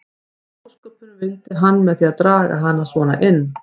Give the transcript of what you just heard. Hvað í ósköpunum vildi hann með því að draga hana svona inn.